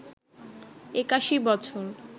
৮১ বছর